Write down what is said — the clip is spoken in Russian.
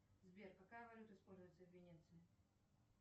сбер какая валюта используется в венеции